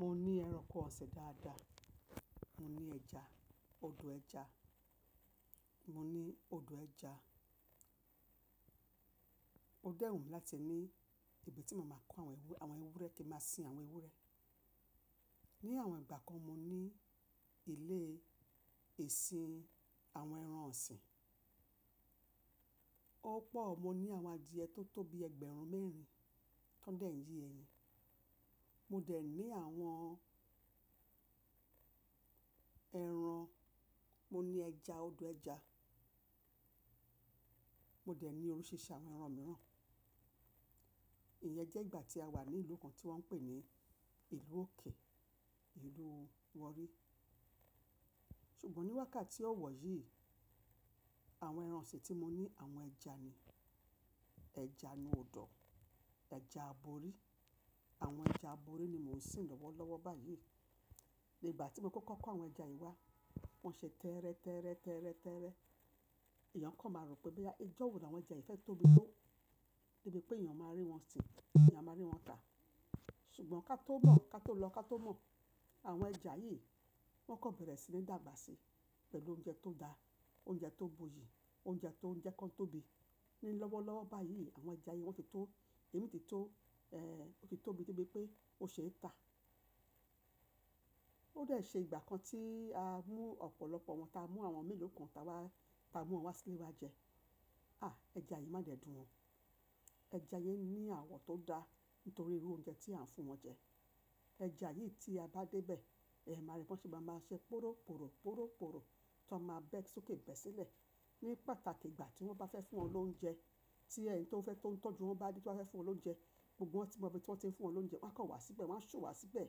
Mo ní ẹranko ọ̀sin dáadáa, mo ní ẹja, ọdọ ẹja, mo ní ọdọ ẹja. Ó dẹ́ wumi láti ní ibi tí màá máa kó àwọn ewúrẹ́, kin máa sin àwọn ewúrẹ́. Ni àwọn ìgbà kan mo ní ilé ìsin àwọn ẹran ọ̀sìn. Ó pọ̀, mo ní àwọn adìẹ tó tó bi ẹgbẹ̀rún mẹ́rin tó ń dẹ̀ ye eyin. Mo dẹ̀ ní àwọn ẹran, mo ní ẹja, ọdọ ẹja. Mo dẹ̀ ní oríṣiríṣi àwọn ẹran mìíràn. Ìyẹn jẹ́ ìgbà tí a wà ní ìlú kan tí wọ́n ń pè ní ìlú òkè, ìlú warri. Ṣùgbọ́n níwákàtí ọ̀wọ̀ yìí, àwọn ẹran ọ̀sìn tí mo ní àwọn ẹja ni, ẹja nu ọ̀dọ̀, ẹja aborí. Àwọn ẹja aborí ni mò ń sin lọ́wọ́lọ́wọ́ báyìí. Igbà tí mo kọ́kọ́ kó àwọn ẹja yìí wá, wọ́n ṣe tẹ́ẹ́rẹ́, tẹ́ẹ́rẹ́, tẹ́ẹ́rẹ́, tẹ́ẹ́rẹ́. Èèyàn kọ̀ máa rò pé bí ẹjọ́ òwúrọ̀ ni àwọn ẹja yìí fẹ́ tóbi tó, níbí pé èèyàn máa rí wọn sin, èèyàn máa rí wọn tà. Ṣùgbọ́n ká tó mọ̀, ká tó lọ, ká tó mọ̀, àwọn ẹja yìí wọ́n kọ́ bẹ̀rẹ̀ sí ní dàgbà sí pẹ̀lú oúnjẹ tó dáa, oúnjẹ tó buyì, oúnjẹ tó ń jẹ́ kí wọ́n tóbi. Ni lọ́wọ́lọ́wọ́ báyìí àwọn ẹja yen wọ́n ti tó, èémí ti tó, ẹ́, ó ti tóbi débi pé ó ṣe é tà. Ó dẹ̀ ṣe ìgbà kan tí a mú ọ̀pọ̀lọpọ̀ wọn, ta mú àwọn mélòó kan ta wá, ta mú wọn wá sílé wa jẹ. À ẹja yìí má dẹ̀ dùn o. Ẹja yìí ní àwọ̀ tó dáa nítorí irú oúnjẹ tí à ń fún wọn jẹ. Ẹja yìí tí a bá dé bẹ̀ ẹ máa rí pé wọ́n ṣì máa máa ṣe poróporó, poróporó tí wọ́n máa bẹ̀ ẹ́ sókè bẹ̀ sílẹ̀. Ní pàtàkì ìgbà tí wọ́n bá fẹ́ fún wọn lóúnjẹ, tí ẹni tí wọ́n fẹ́ tó ń tọ́jú wọn bá dé tí wọ́n fẹ́ fún wọn lóúnjẹ gbogbo wọn tí wọn bí i tí wọ́n ti ń fún wọn lóúnjẹ wọ́n á kọ wá síbẹ̀, wọ́n á ṣu wá síbẹ̀.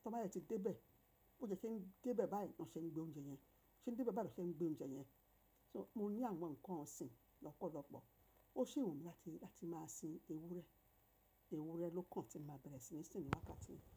Tí wọ́n bá yẹ́ ti dé bẹ̀, ó jẹ́ kí ń dé bẹ̀ báyìí, ó ṣe ń gbé oúnjẹ yẹn, ó ṣe ń dé bẹ̀ báyìí ló ṣe ń gbé oúnjẹ yẹn. So mo ní àwọn nǹkan ọ̀sìn lọ́pọ̀lọpọ̀. Ó ṣi wunmi láti, láti máa sin ewúrẹ́. Ewúrẹ́ ló kan tí máa bẹ̀rẹ̀ sí ní sin níwákàtí yìí.